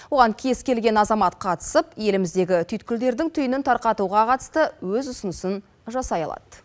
оған кез келген азамат қатысып еліміздегі түйткілдердің түйінін тарқатуға қатысты өз ұсынысын жасай алады